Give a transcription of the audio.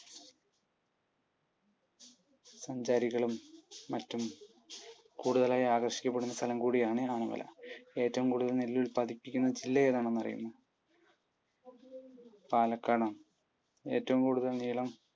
സഞ്ചാരികളും മറ്റും കൂടുതലായി ആകർഷിക്കപ്പെടുന്ന സ്ഥലം കൂടിയാണ് ആനമല. ഏറ്റവും കൂടുതൽ നെല്ലുൽപ്പാദിപ്പിക്കുന്ന ജില്ല ഏതാണെന്ന് അറിയുമോ? പാലക്കാടാണ്. ഏറ്റവുംകൂടുതൽ നീളം